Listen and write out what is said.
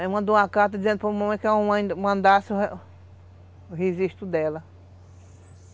Aí mandou uma carta dizendo para a mamãe que a mamãe mandasse o registro dela.